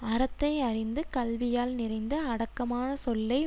அறத்தை அறிந்து கல்வியால் நிறைந்து அடக்கமான சொல்லை